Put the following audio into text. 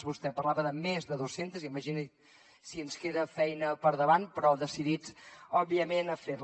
vostè parlava de més de dos centes imagini si ens queda feina per davant però decidits òbviament a fer la